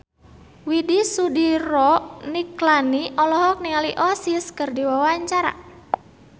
Widy Soediro Nichlany olohok ningali Oasis keur diwawancara